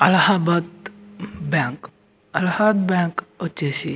Allahabad bank అలహా bank వచ్చేసి --